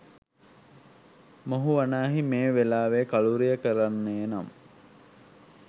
මොහු වනාහි මේ වෙලාවේ කලූරිය කරන්නේ නම්